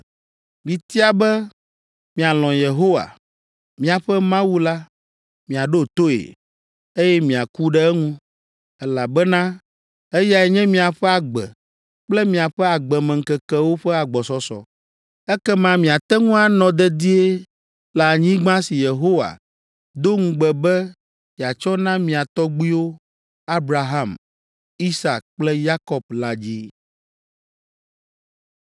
Mitia be mialɔ̃ Yehowa, miaƒe Mawu la. Miaɖo toe, eye miaku ɖe eŋu, elabena eyae nye miaƒe agbe kple miaƒe agbemeŋkekewo ƒe agbɔsɔsɔ. Ekema miate ŋu anɔ dedie le anyigba si Yehowa do ŋugbe be yeatsɔ na mia tɔgbuiwo, Abraham, Isak kple Yakob la dzi.”